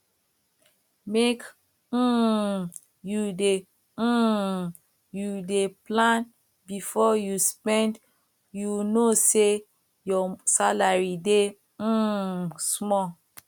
make um you dey um you dey plan before you spend you know sey your salary dey um small